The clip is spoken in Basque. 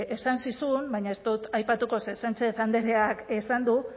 esan zizun baina ez dut aipatuko ze sánchez andreak esan du